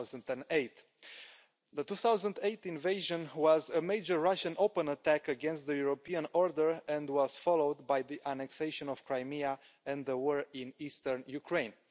2008. The 2008 invasion was a major Russian open attack against the European order and was followed by the annexation of Crimea and the war in Eastern Ukraine.